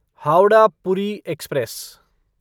Howrah Puri express